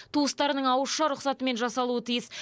туыстарының ауызша рұқсатымен жасалуы тиіс